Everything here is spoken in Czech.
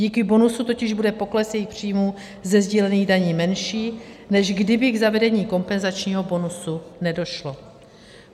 Díky bonusu totiž bude pokles jejich příjmů ze sdílených daní menší, než kdyby k zavedení kompenzačního bonusu nedošlo.